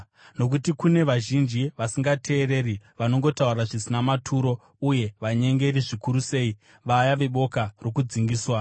Nokuti kune vazhinji vasingateereri vanongotaura zvisina maturo uye vanyengeri, zvikuru sei vaya veboka rokudzingiswa.